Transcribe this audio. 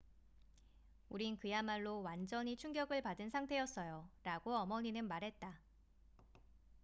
"""우린 그야말로 완전히 충격을 받은 상태였어요,""라고 어머니는 말했다.